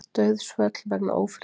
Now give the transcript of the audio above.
Dauðsföll vegna ófriðar